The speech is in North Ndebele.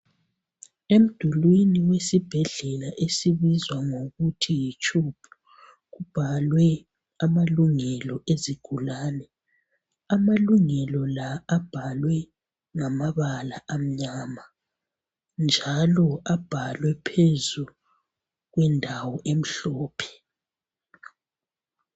Emdulwini wesibhedlela esibizwa ngokuthi yiCHUB kubhalwe amalungelo ezigulane amalungelo la abhalwe ngamabala amnyama njalo abhalwe phezu kwendawo emhlophe.